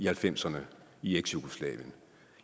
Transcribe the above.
halvfemserne i eksjugoslavien